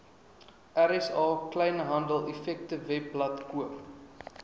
rsa kleinhandeleffektewebblad koop